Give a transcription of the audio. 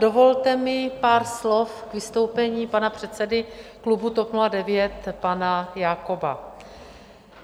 Dovolte mi pár slov k vystoupení pana předsedy klubu TOP 09 pana Jakoba.